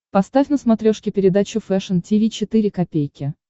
поставь на смотрешке передачу фэшн ти ви четыре ка